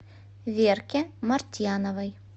верке мартьяновой